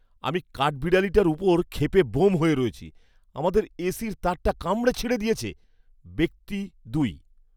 আমি কাঠবিড়ালিটার ওপর ক্ষেপে ব্যোম হয়ে রয়েছি, আমাদের এসির তারটা কামড়ে ছিঁড়ে দিয়েছে। ব্যক্তি দুই